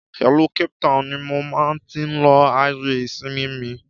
Ìlú Cape Town ni mo máa tí lo àyè ìsinmi mi